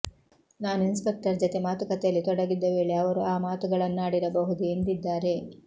ನಾನು ಇನ್ಸ್ಪೆಕ್ಟರ್ ಜತೆ ಮಾತುಕತೆಯಲ್ಲಿ ತೊಡಗಿದ್ದ ವೇಳೆ ಅವರು ಆ ಮಾತುಗಳನ್ನಾಡಿರಬಹುದು ಎಂದಿದ್ದಾರೆ